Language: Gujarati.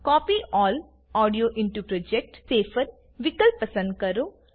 copy all audio into project વિકલ્પ પસંદ કરો